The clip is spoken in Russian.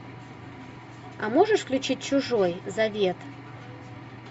а можешь включить чужой завет